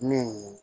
Min